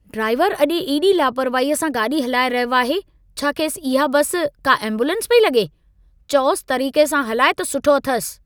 ड्राइवरु अॼु एॾी लापरवाहीअ सां गाॾी हलाए रहियो आहे। छा खेसि इहा बासि, का एम्बुलेंस पेई लॻे? चओसि, तरीक़े सां हालाए त सुठो अथसि।